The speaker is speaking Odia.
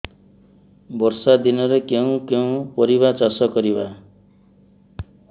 ବର୍ଷା ଦିନରେ କେଉଁ କେଉଁ ପରିବା ଚାଷ କରିବା